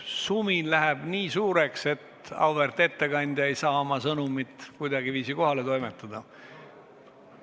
Sumin läheb nii suureks, et auväärt ettekandja ei saa oma sõnumit kuidagiviisi kohale toimetada.